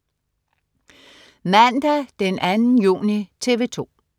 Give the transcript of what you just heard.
Mandag den 2. juni - TV 2: